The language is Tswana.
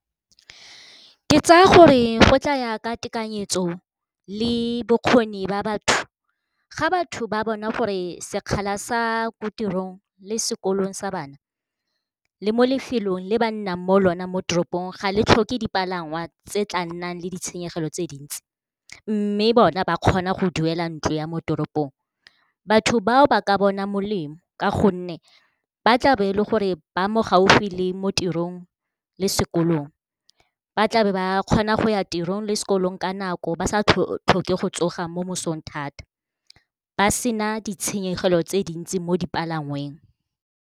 Ke tsaya gore go tla ya ka tekanyetso le bokgoni ba batho ga batho ba bona gore sekgala sa ko tirong le sekolong sa bana le mo lefelong le ba nnang mo lona, mo toropong ga le tlhoke dipalangwa tse tla nnang le ditshenyegelo tse dintsi. Mme bona ba kgona go duela ntlo ya mo toropong, batho bao ba ka bona molemo ka gonne ba tla be le gore ba mo gaufi le mo tirong le sekolong. Ba tlabe ba kgona go ya tirong le sekolong ka nako ba sa tlhoke go tsoga mo mosong thata, ba sena ditshenyegelo tse dintsi mo dipalangweng.